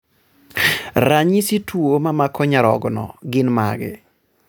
ranyisi tuo mamako nyarogno gin mage?